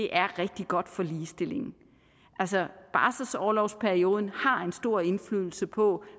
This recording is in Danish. er rigtig godt for ligestillingen barselsorlovsperioden har en stor indflydelse på